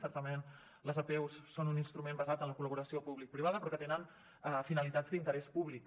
certament les apeus són un instrument basat en la col·laboració publicoprivada però que tenen finalitats d’interès públic